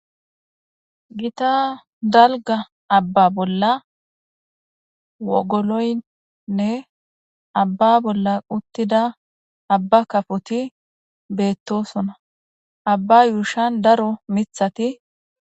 Gitta dalgga aabba bolla woogoloynne aabba bolla uuttida aabba kafoti beettosona aabba yuushshan daro miiththati